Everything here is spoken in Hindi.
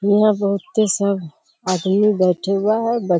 हीया बहुते सब आदमी बैठे हुआ है।